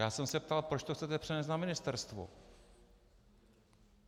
Já jsem se ptal, proč to chcete přenést na ministerstvo.